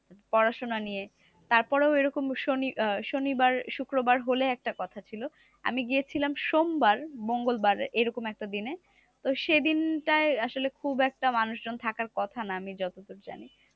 পড়াশোনা নিয়ে। তারপরেও এরকম শনি আহ শনিবার শুক্রবার হলে একটা কথা ছিল। আমি গিয়েছিলাম সোমবার মঙ্গলবার এরকম একটা দিনে। তো সেদিনটায় আসলে খুব একটা মানুষজন থাকার কথা না, আমি যতদূর জানি।